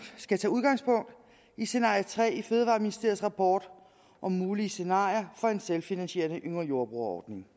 skal tage udgangspunkt i scenario tre i fødevareministeriets rapport om mulige scenarier for en selvfinansierende yngre jordbrugere ordning